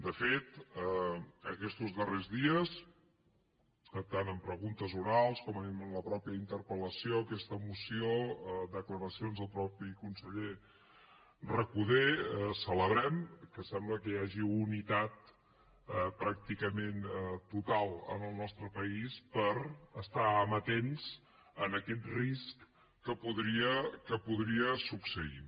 de fet aquestos darrers dies tant en preguntes orals com en la mateixa interpel·lació aquesta moció declaracions del mateix conseller recoder celebrem que sembla que hi hagi unitat pràcticament total en el nostre país a estar amatents a aquest risc que podria succeir